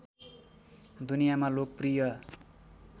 दुनियामा लोकप्रिय